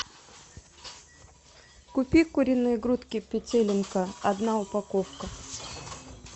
купи куриные грудки петелинка одна упаковка